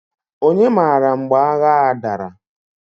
Onye mara mgbe agha a dara?